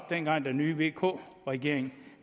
dengang den nye vk regering